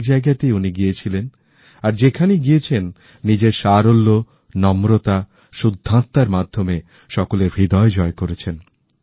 অনেক জায়গাতেই উনি গিয়েছিলেন আর যেখানেইগিয়েছেন নিজের সারল্য নম্রতা শুদ্ধত্মার মাধ্যমে সকলের হৃদয় জয় করেছেন